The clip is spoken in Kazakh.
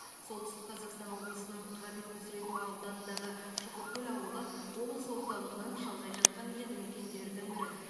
солтүстік қазақстан облысының ғабит мүсірепов ауданындағы шұқыркөл ауылы облыс орталығынан шалғай жатқан елді мекендердің бірі